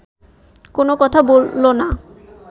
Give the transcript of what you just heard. কোনো কথা বলল না